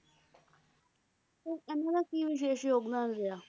ਤੇ ਇਹਨਾਂ ਦਾ ਕਿ ਵਿਸ਼ੇਸ਼ ਯੋਗਦਾਨ ਰਿਹਾ?